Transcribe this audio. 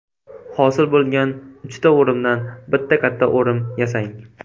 Hosil bo‘lgan uchta o‘rimdan bitta katta o‘rim yasang.